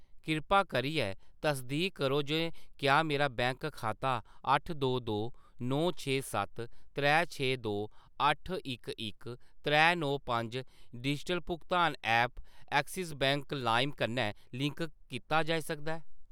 किरपा करियै तसदीक करो जे क्या मेरा बैंक खाता अट्ठ दो दो नौ छे सत्त त्रै छे दो अट्ठ इक इक त्रै नौ पंज डिजिटल भुगतान ऐप्प एक्सिस बैंक लाइम कन्नै लिंक कीता जाई सकदा ऐ ?